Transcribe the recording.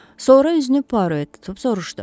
Sonra üzünü Puaro tutub soruşdu.